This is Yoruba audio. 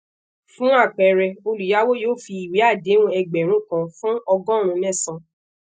fun apẹẹrẹ oluyawo yoo fi iwe adehun egberun kan fun ọgọrun mẹsan